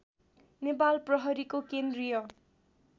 नेपाल प्रहरीको केन्द्रीय